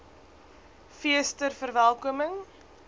fees ter verwelkoming